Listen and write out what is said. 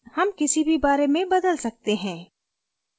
हम किसी भी बारे में बदल सकते हैं